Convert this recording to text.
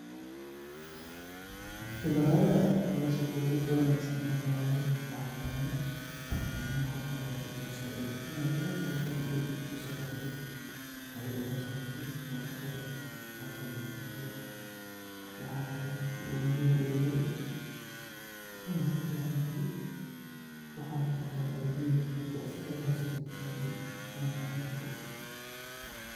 Qibradaha ama sheekoyinka wangasan een kamaqalay bahalkan, wa inu marka horeto u kasacido ina dalal farabadan usafarkarti, o udalhis tagtid, oo ushaga taktid gaab rabtid bo, waxa kaleto u muxiim uyaxay una kafican yaxay waxa utagano id hadi asaga aad haysatit id umabahnid bo.